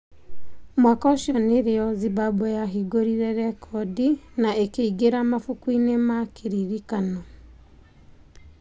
Mwaka ũcio nĩrĩo Zimbabwe yahingũrire rekondi na ĩkĩingĩra mabuku-inĩ ma kiririkano.